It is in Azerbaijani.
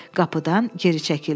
Qapıdan geri çəkildi.